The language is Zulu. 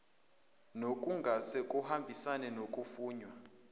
nokungase kuhambisane nokufunwa